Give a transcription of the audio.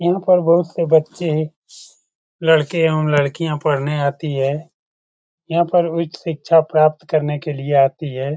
ऊपर बहुत से बच्चे लड़के एवम लड़कियाँ पढ़ने आती है। यह पर उच्च शिक्षा प्राप्त करने के लिए आती है।